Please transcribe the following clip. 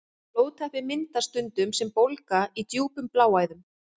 Blóðtappi myndast stundum sem bólga í djúpum bláæðum.